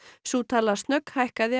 sú tala